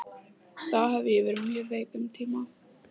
Þá hafði ég verið mjög veik um tíma.